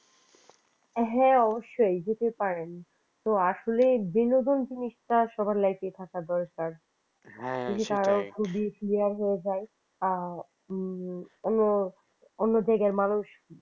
হ্যাঁ অবশ্যই যেতে পারেন তো আসলে বিনোদন জিনিসটা সবার life থাকা দরকার যদি কারোর খুবই clear হয়ে যায় হ্যাঁ হু অন্য জায়গার মানুষ